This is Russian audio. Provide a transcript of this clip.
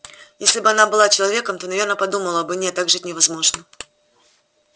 если бы она была человеком то наверное подумала бы нет так жить невозможно